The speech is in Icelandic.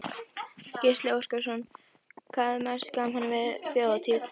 Gísli Óskarsson: Hvað er mest gaman við Þjóðhátíð?